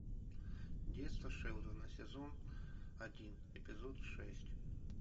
детство шелдона сезон один эпизод шесть